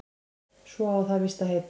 Svo á það víst að heita